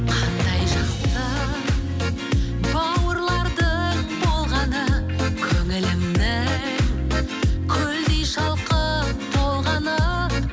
қандай жақсы бауырлардың болғаны көңілімнің көлдей шалқып толғаны